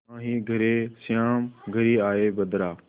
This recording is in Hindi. नाहीं घरे श्याम घेरि आये बदरा